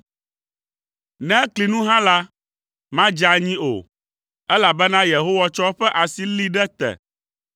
ne ekli nu hã la, madze anyi o elabena Yehowa tsɔ eƒe asi lée ɖe te.